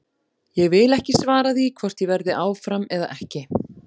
Ég vil ekki svara því hvort ég verði áfram eða ekki.